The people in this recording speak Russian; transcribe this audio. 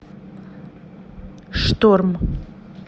шторм